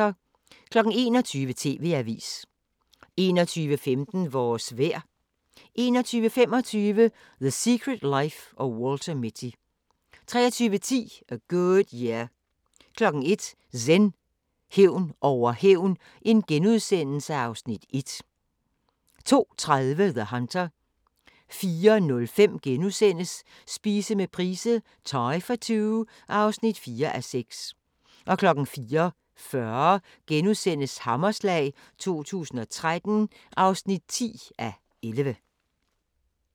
21:00: TV-avisen 21:15: Vores vejr 21:25: The Secret Life of Walter Mitty 23:10: A Good Year 01:00: Zen: Hævn over hævn (Afs. 1)* 02:30: The Hunter 04:05: Spise med Price - thai for two (4:6)* 04:40: Hammerslag 2013 (10:11)*